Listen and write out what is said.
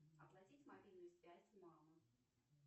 оплатить мобильную связь мамы